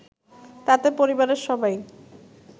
তাতে পরিবারের সবাই